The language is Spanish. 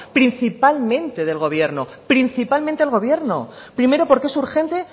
principalmente del gobierno principalmente el gobierno primero porque es urgente